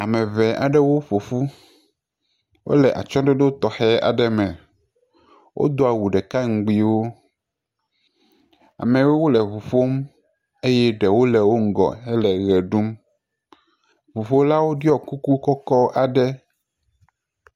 Ame ŋee aɖewo ƒo ƒu. Wole atsyɔ̃ɖoɖo tɔxɛ aɖe me. Wodo awu ɖeka ŋgbiwo. Ameawo le ŋu ƒom, Eye ɖewo le wo ŋgɔ hele ʋe ɖum. Ŋuƒolawo ɖiɔ kuku kɔkɔ aɖe.